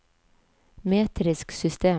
metrisk system